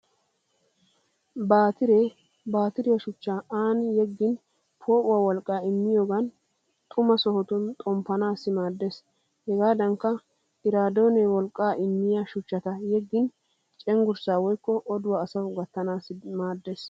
Baatiree baatiriya shuchchaa aani yeggin poo'uwa wolqqaa immiyogan xuma sohotun xomppanaassi maaddeees. Hegaadankka iraadoone wolqqaa immiya shuchchata yeggin cenggurssa woykko oduwa asawu gattanaassi maaddeees.